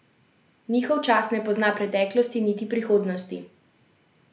Njihov čas ne pozna preteklosti niti prihodnosti.